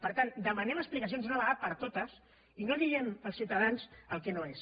per tant demanem explicacions una vegada per totes i no diguem als ciutadans el que no és